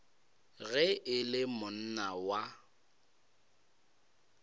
ge e le monna wa